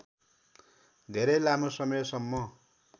धेरै लामो समयसम्म